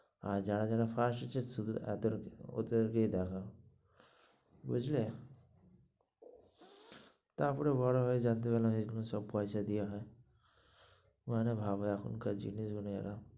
আর যারা যারা পাশ হয়েছে এ দেড় কে, ওদের কেই দেখাও, বুঝলে তারপর বড়ো হয়ে জানতে পারলাম এই গুলো সব পয়সা দিয়ে হয়.